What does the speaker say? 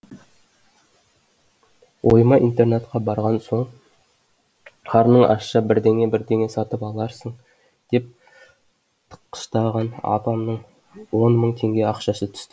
ойыма интернатқа барған соң қарның ашса бірдеңе бірдеңе сатып аларсың деп тыққыштаған апамның он мың тенге ақшасы түсті